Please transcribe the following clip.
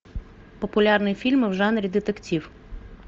популярные фильмы в жанре детектив